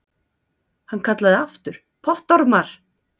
Hann kallaði aftur: Pottormar!